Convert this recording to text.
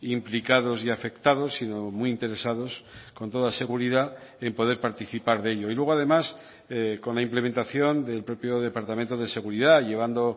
implicados y afectados sino muy interesados con toda seguridad en poder participar de ello y luego además con la implementación del propio departamento de seguridad llevando